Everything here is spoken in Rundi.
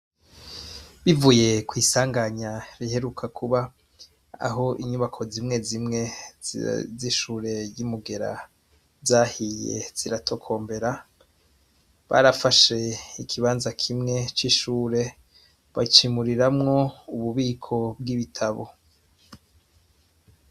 Bivuye kwisanganya riherutse kuba ,aho inyubakwa zimwe zimwe zishure ryimugera zahiye zigatokombera, barafashe ikibanza kimwe cishure bacimuriramwo ububiko bwibitabo.